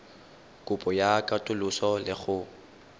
kopo ya katoloso le go